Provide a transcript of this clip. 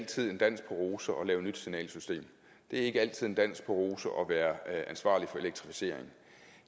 altid en dans på roser at lave nyt signalsystem det er ikke altid en dans på roser at være ansvarlig for elektrificering